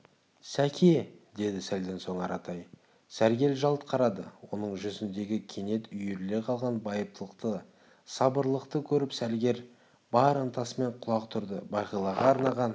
сәке деді сәлден соң аратай сәргел жалт қарады оның жүзіндегі кенет үйіріле қалған байыптылықты сабырлылықты көріп сәргел бар ынтасымен құлақ түрді бағилаға арнаған